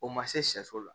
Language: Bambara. O ma se sɛso la